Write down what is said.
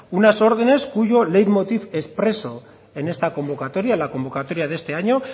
unas órdenes cuyo late motiv expreso en esta convocatoria la convocatoria de este año